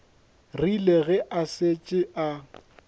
rile ge a šetše a